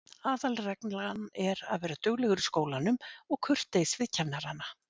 Aðalreglan er að vera duglegur í skólanum og kurteis við kennarana.